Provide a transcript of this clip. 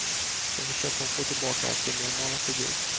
Nu försöker hon få tillbaka sin normala figur.